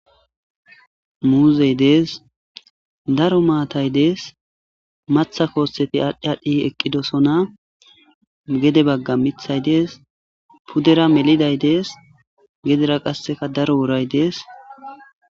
muuzey dees daro maatay dees matha koosseti aadhdh adhdhi eqqidosona gede bagga mithay dees puddera meliday dees gedera qasseka daro woray dees